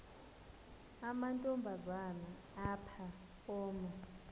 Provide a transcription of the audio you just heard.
amantombazana ngapha koma